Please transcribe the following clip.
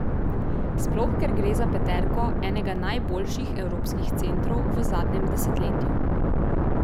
Sploh ker gre za peterko enega najboljših evropskih centrov v zadnjem desetletju.